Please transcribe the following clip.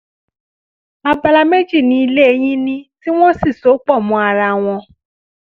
abala méjì ni ilé yìí ní tí wọ́n sì so pọ̀ mọ́ ara wọn